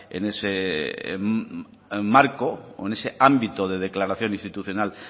en ese marco o en ese ámbito de declaración institucional